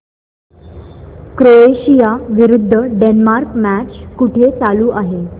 Croatia विरुद्ध Denmark match कुठे चालू आहे